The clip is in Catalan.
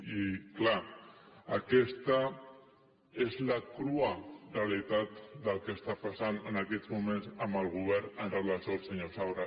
i clar aquesta és la crua realitat del que està passant en aquests moments amb el govern amb relació al senyor saura